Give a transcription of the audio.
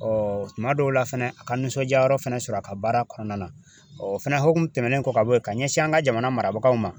tuma dɔw la fɛnɛ a ka nisɔndiyayɔrɔ fɛnɛ sɔrɔ a ka baara kɔnɔna na, o fɛnɛ hokumu tɛmɛnen kɔ ka bɔ yen ka ɲɛsin an ka jamana marabagaw ma ,